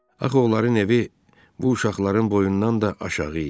Axı onların evi bu uşaqların boyundan da aşağı idi.